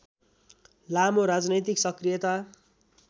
लामो राजनैतिक सक्रियता